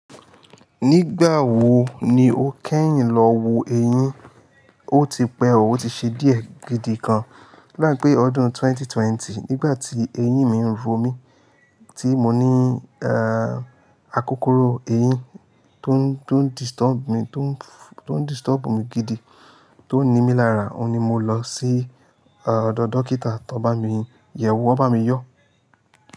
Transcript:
Nígbà wo ni o kẹ́yìn lọ wo eyín? O ti pẹ́, o ti ṣe díẹ̀ gidi kan. Odapé ọdún 2020 nígbà tí eyín mi ń ro mí, tí mo ní, a akókoro eyín tó ń, tó ń disturb mi, tó ń disturb mi gidi, tó ń ni mí lára, òun ni mo lọ sí, ah, ọ̀dọ̀ dókítà tán bá mi yẹ̀wò, wọ́n bá mi yọ.